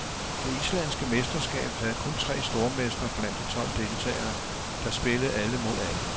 Det islandske mesterskab havde kun tre stormestre blandt de tolv deltagere, der spillede alle mod alle.